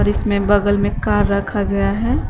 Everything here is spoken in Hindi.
इसमें बगल में कार रखा गया है।